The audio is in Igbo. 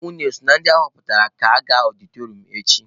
Unu eso na ndị ahọpụtara ga-aga ọdịtọrịọm echi?